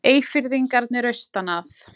Eyfirðingarnir austan að.